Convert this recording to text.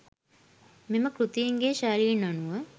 මෙම කෘතීන්ගේ ශෛලීන් අනුව